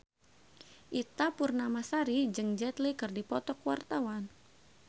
Ita Purnamasari jeung Jet Li keur dipoto ku wartawan